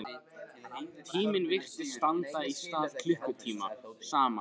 Tíminn virtist standa í stað klukkutímum saman.